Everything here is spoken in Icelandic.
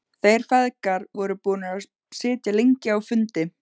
Þeir feðgar voru búnir að sitja lengi á fundi.